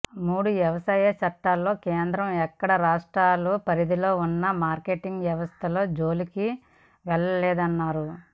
మూడు వ్యవసాయ చట్టాలలో కేంద్రం ఎక్కడా రాష్ట్రాల పరిధిలో ఉన్న మార్కెటింగ్ వ్యవస్థల జోలికి వెళ్లలేదన్నారు